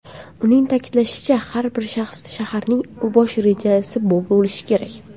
Uning ta’kidlashicha, har bir shaharning bosh rejasi bo‘lishi kerak.